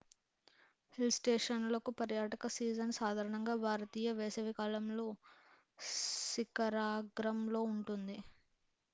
hill స్టేషన్లకు పర్యాటక season సాధారణంగా భారతీయ వేసవి కాలంలో శిఖరాగ్రం లో ఉంటుంది